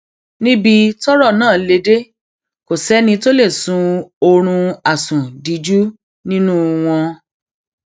níbi tọrọ náà lè dé kò sẹni tó lè sun oorun àsundíjú nínú wọn